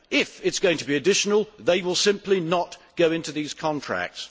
If it is going to be additional, they will simply not go into these contracts.